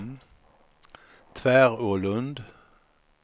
Tvärålund